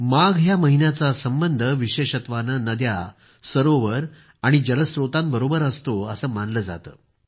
माघ या महिन्याचा संबंध विशेषत्वानं नद्या सरोवर आणि जलस्त्रोतांबरोबर असतो असं मानलं जातं